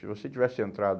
Se você tivesse entrado...